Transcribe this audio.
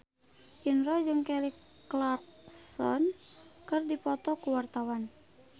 Indro jeung Kelly Clarkson keur dipoto ku wartawan